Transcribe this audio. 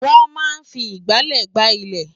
Wọ́́n máa ń fi ìgbálẹ̀ gbá ilẹ̀